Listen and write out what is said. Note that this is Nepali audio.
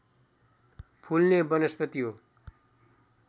फुल्ने वनस्पति हो